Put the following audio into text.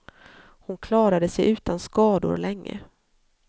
Hon klarade sig utan skador länge.